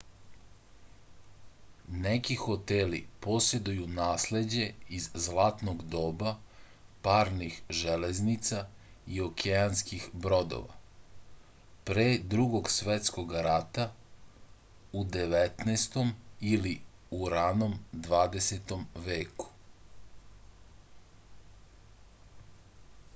neki hoteli poseduju nasleđe iz zlatnog doba parnih železnica i okeanskih brodova pre drugog svetskog rata u 19. ili ranom 20. veku